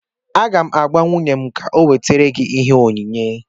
Aga m agwa nwunye m ka ọ wetara gị ihe onyinye